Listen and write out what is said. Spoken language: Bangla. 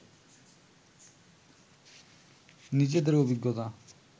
নিজেদের অভিজ্ঞতা